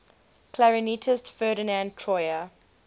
clarinetist ferdinand troyer